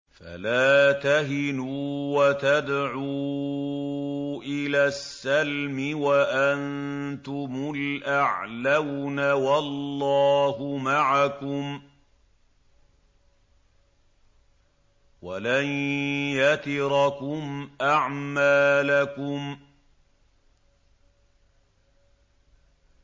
فَلَا تَهِنُوا وَتَدْعُوا إِلَى السَّلْمِ وَأَنتُمُ الْأَعْلَوْنَ وَاللَّهُ مَعَكُمْ وَلَن يَتِرَكُمْ أَعْمَالَكُمْ